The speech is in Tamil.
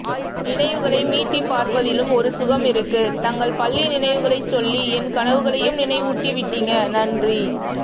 நினைவுகளை மீட்டிப் பார்ப்பதிலும் ஒரு சுகம் இருக்கு தங்கள் பள்ளி நினைவுகளைச் சொல்லி என்கனவுகளையும் நினைவூட்டி விட்டீங்க நன்றி